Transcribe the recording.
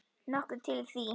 Nokkuð til í því.